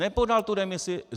Nepodal tu demisi.